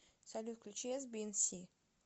салют включи эсбиэнси